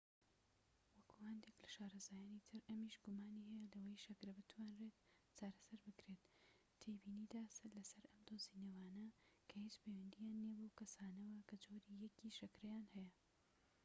وەکو هەندێك لە شارەزایانی تر، ئەمیش گومانی هەیە لەوەی شەکرە بتوانرێت چارەسەر بکرێت، تێبینیدا لەسەر ئەم دۆزینەوانە کە هیچ پەیوەندیان نیە بەو کەسانەوە کە جۆری ١ ی شەکرەیان هەیە